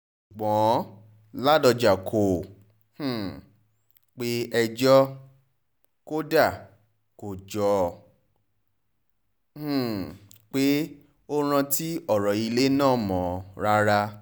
ṣùgbọ́n ládọ́jà kò um pé ẹjọ́ ò kódà kò jọ um pé ó rántí ọ̀rọ̀ ilé náà mọ́ rárá